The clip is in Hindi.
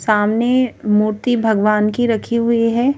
सामने मूर्ति भगवान की रखी हुई है।